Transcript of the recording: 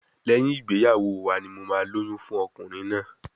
Lẹ́yìn ìgbéyàwó wa ni mo máa lóyún fún ọkùnrin náà.